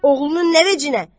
Oğlunun nə vecinə?